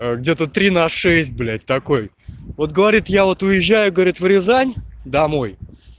а где-то три на шесть блять такой вот говорит я вот уезжаю говорит в рязань домой